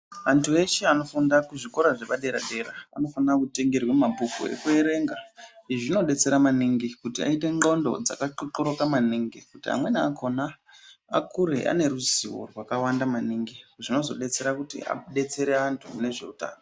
Antu eshe anofunda kuzvikora zvepaderadera anofanire kutengerwa mabhuku ekuerenga izvi zvinodetsera maningi kuti aite nxlondo dzakaxoxoroka maningi kuti amweni akona akure ane ruzivo rwakawanda maningi zvinozodetsera kuti adetsere anhu nezveutano.